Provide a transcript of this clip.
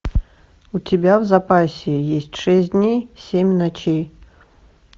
у тебя в запасе есть шесть дней семь ночей